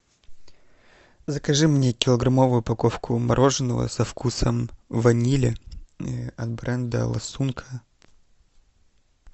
закажи мне килограммовую упаковку мороженого со вкусом ванили от бренда ласунка